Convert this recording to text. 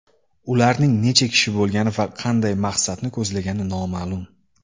Ularning necha kishi bo‘lgani va qanday maqsadni ko‘zlagani noma’lum.